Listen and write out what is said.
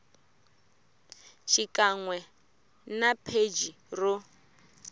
xikan we na pheji ro